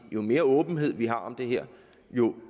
jo mere åbenhed vi har om det her